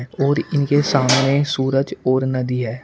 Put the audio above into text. और इनके सामने सूरज और नदी है।